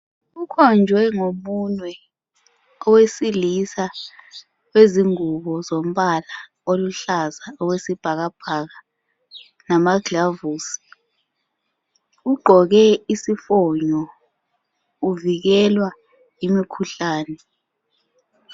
Ukhonjwe ngomunwe owesilisa wezingubo zombala oluhlaza okwesibhakabhaka, lamaglavusi ugqoke isifonyo kuvikelwa imikhuhlane.